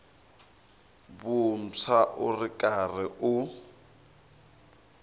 vuntshwa u ri karhi u